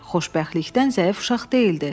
Xoşbəxtlikdən zəif uşaq deyildi.